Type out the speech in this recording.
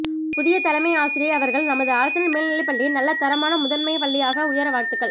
புதிய தலைமை ஆசிரியை அவர்கள் நமது அரசினர் மேல்நிலைப்பள்ளிஐ நல்ல தரமான முதன்மை பள்ளியாக உயர வாழ்த்துக்கள்